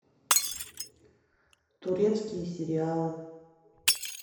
турецкие сериалы